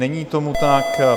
Není tomu tak.